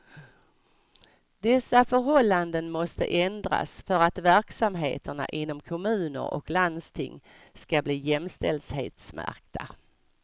Dessa förhållanden måste ändras för att verksamheterna inom kommuner och landsting ska bli jämställdhetsmärkta.